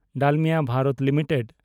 Dalmia Bharat limited